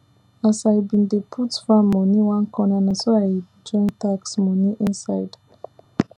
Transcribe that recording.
as i bin dey put farm moni one corner naso i join tax moni inside